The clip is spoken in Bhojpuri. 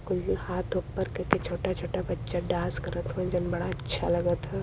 हाथ ऊपर करके छोटा-छोटा बच्चा डांस करत हउवे जवन बड़ा अच्छा लगत ह।